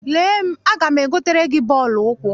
Lee m, aga m egotere gị bọọlụ ụkwụ.